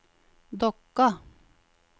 Dokka